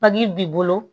Papii b'i bolo